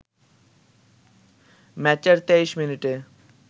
ম্যাচের ২৩ মিনিটে